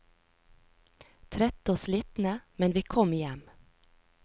Trette og slitne, men vi kom hjem.